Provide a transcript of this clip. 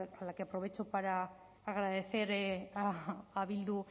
a la que aprovecho para agradecer a bildu